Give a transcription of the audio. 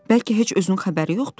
Bəlkə heç özünün xəbəri yoxdur?